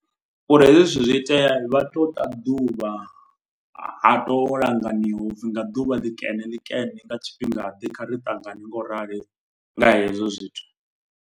Uri hezwi zwithu zwi itea vha tou ta ḓuvha. Ha to langaniwa upfhi nga ḓuvha ḽi kene ḽi kene nga tshifhingaḓe. Kha ri ṱangane nga u rali nga hezwo zwithu.